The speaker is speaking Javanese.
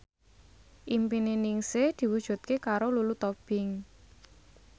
impine Ningsih diwujudke karo Lulu Tobing